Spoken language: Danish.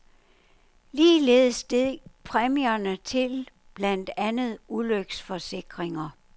Ligeledes steg præmierne til blandt andet ulykkesforsikringer.